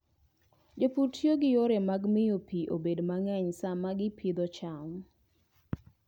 Jopur tiyo gi yore mag miyo pi obed mang'eny sama gipidho cham.